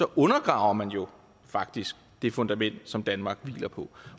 undergraver man jo faktisk det fundament som danmark hviler på